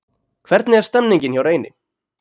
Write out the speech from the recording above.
Hvernig er stemningin hjá Reyni?